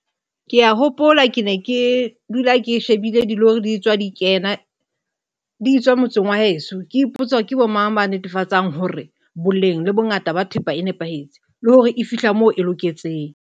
Ke a hopola ke ne ke dula ke shebella dilori di tswa di kena di etswa motseng wa heso ke ipotse hore ke mang ya netefatsang hore boleng le bongata ba thepa e nepahetse le hore e fihla moo e loketseng.